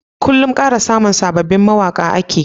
Kullun Ana kara samun sababin mawaƙa ake